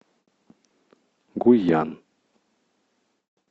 гуйян